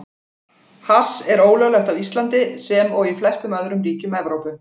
Hass er ólöglegt á Íslandi, sem og í flestum öðrum ríkjum Evrópu.